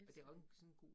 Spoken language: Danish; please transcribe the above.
Elsker hende